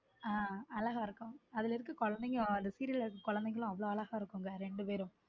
ஹம் அழகா இருக்கும் அதுல இருக்குற குழந்தைங்க அந்த serial இருக்க குழைந்தைகளும் அவ்வளவு அழகா இருக்கும் ரெண்டு பேரும்.